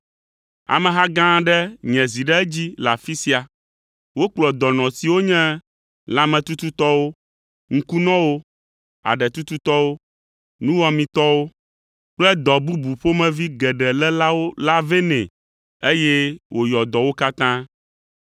Ameha gã aɖe nye zi ɖe edzi le afi sia. Wokplɔ dɔnɔ siwo nye lãmetututɔwo, ŋkunɔwo, aɖetututɔwo, nuwɔametɔwo kple dɔ bubu ƒomevi geɖe lélawo la vɛ nɛ, eye wòyɔ dɔ wo katã.